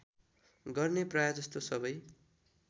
गर्ने प्रायजसो सबै